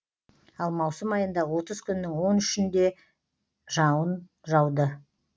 ал маусым айында отыз күннің он үшінде жауын жауды